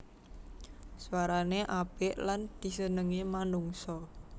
Swarané apik lan disenengi manungsa